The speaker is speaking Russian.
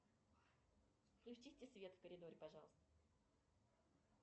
включите свет в коридоре пожалуйста